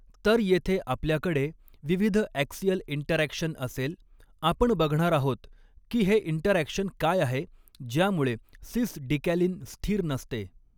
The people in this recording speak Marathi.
तर येथे आपल्याकडे विविध ॲक्सियल इंटरॅक्शन असेल आपण बघणार आहोत की हे इंटरॅक्शन काय आहे ज्यामुळे सिस डिकॅलीन स्थिर नसते.